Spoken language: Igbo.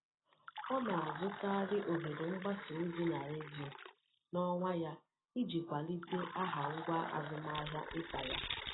Ọ na-azụkarị ohere mgbasa ozi na redio n'onwa ya iji kwalite aha ngwá azụmahịa nta ya.